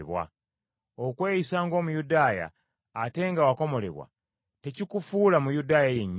Okweyisa ng’Omuyudaaya ate nga wakomolebwa, tekikufuula Muyudaaya yennyini.